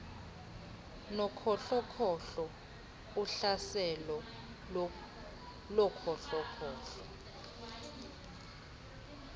nokhohlokhohlo uhlaselo lokhohlokhohlo